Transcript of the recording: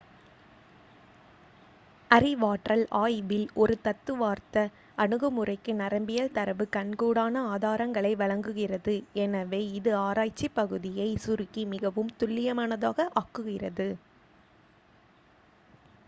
அறிவாற்றல் ஆய்வில் ஒரு தத்துவார்த்த அணுகுமுறைக்கு நரம்பியல் தரவு கண்கூடான ஆதாரங்களை வழங்குகிறது எனவே இது ஆராய்ச்சி பகுதியைச் சுருக்கி மிகவும் துல்லியமானதாக ஆக்குகிறது